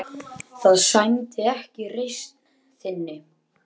Það sæmdi ekki reisn þinni.